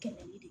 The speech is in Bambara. Kɛmɛ ni